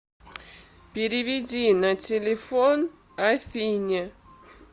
переведи на телефон афине